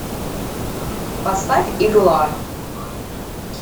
поставь игла